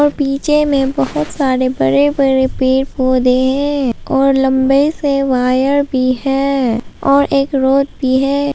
पीछे में बहुत सारे बड़े बड़े पेड़ पौधे हैं और लंबे से वायर भी हैं और एक रोड भी है।